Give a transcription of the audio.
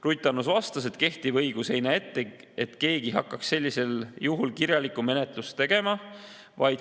Ruth Annus vastas, et kehtiv õigus ei näe ette, et keegi hakkaks sellisel juhul kirjalikku menetlust tegema.